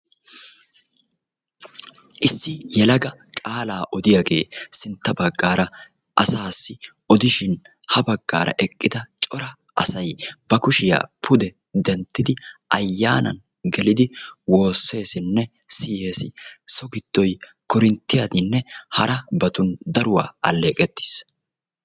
Issi yelaga qaala odiyaagee sintta baggaara asassi odishin ha baggaara eqqida cora asay ba kushiya pude denttidi ayyanan gelidi woosessinne siyyees. So giddoy koorinttiyaninne harabatun daruwan alleqqettiis.